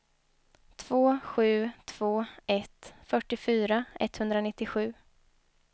två sju två ett fyrtiofyra etthundranittiosju